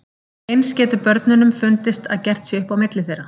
Eins getur börnunum fundist að gert sé upp á milli þeirra.